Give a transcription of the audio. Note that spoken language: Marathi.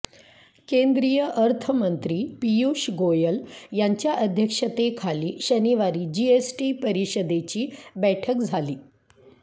केंद्रीय अर्थमंत्री पियुष गोयल यांच्या अध्यक्षतेखाली शनिवारी जीएसटी परिषदेची बैठक झाली